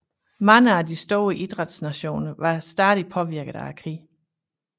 Mange af de store idræts nationer var stadig påvirket af krigen